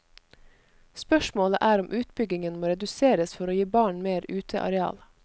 Spørsmålet er om utbyggingen må reduseres for å gi barn mer uteareal.